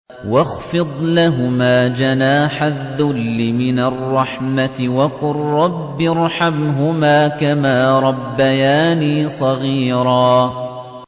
وَاخْفِضْ لَهُمَا جَنَاحَ الذُّلِّ مِنَ الرَّحْمَةِ وَقُل رَّبِّ ارْحَمْهُمَا كَمَا رَبَّيَانِي صَغِيرًا